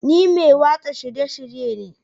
Ni mai watsa shirye-shirye ne